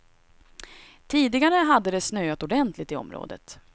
Tidigare hade det snöat ordentligt i området.